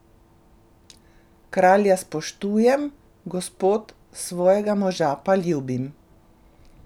Kralja spoštujem, gospod, svojega moža pa ljubim.